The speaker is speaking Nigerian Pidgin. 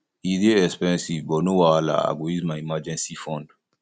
e dey expensive but no wahala i go use my emergency fund